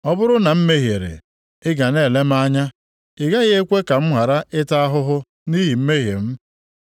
Ọ bụrụ na m mehiere, ị ga na-ele m anya, ị gaghị ekwe ka m ghara ịta ahụhụ nʼihi mmehie m.